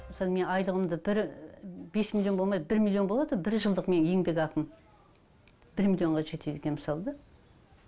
мысалы мен айлығымды бір бес миллион болмайды бір миллион болады бір жылдық менің еңбекақым бір миллионға жетеді екен мысалы да